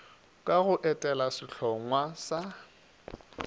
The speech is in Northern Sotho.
ka go etela sehlongwa sa